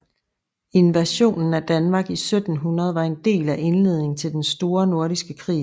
Invasionen af Danmark i 1700 var en del af indledningen til den store nordiske krig